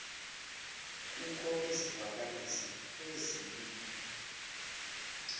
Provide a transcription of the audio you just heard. kukho izivakalisi ezili